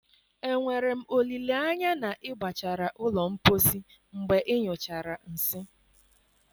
Enwere m olileanya na ị gbachara ụlọ mposi mgbe ịnyụchara nsị?